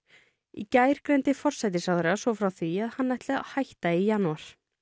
í gær greindi forsætisráðherra svo frá því að hann ætli að hætta í janúar